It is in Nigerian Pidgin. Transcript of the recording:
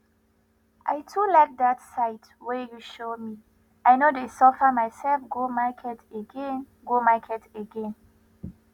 i too like that site wey you show me i no dey suffer myself go market again go market again